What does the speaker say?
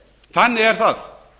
þannig er það